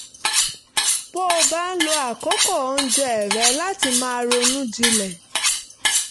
bó bá ń lo àkókò oúnjẹ rẹ̀ láti máa ronú jinlẹ̀